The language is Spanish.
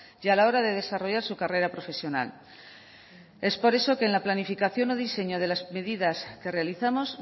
y a la hora de desarrollar su carrera profesional es por eso que en la planificación o diseño de las medidas que realizamos